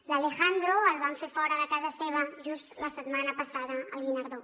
a l’alejandro el van fer fora de casa seva just la setmana passada al guinardó